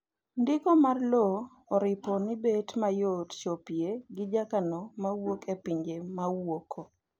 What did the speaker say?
ndiko mar lowo oripo ni bet mayot chopoe gi jokano ma wuok e pinje mawuoko